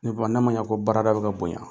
Ne fa na ma ɲa ko baarada bi ka bonɲa